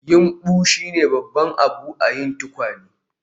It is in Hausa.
Yumbu shine babban abu a yin tukwane